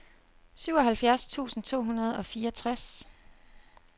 syvoghalvfjerds tusind to hundrede og fireogtres